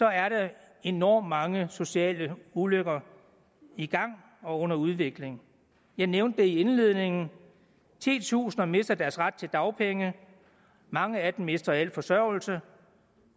er der enormt mange sociale ulykker i gang og under udvikling jeg nævnte det i indledningen titusinder mister deres ret til dagpenge og mange af dem mister al forsørgelse